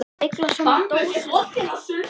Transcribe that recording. Hún beyglar saman dósina og hendir henni í vatnið.